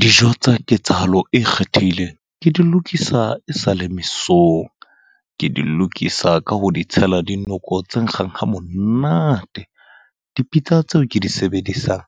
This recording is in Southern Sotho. Dijo tsa ketsahalo e kgethehileng, ke di lokisa e sale mesong. Ke di lokisa ka ho di tshela dinoko tse nkgang ha monate. Dipitsa tseo ke di sebedisang,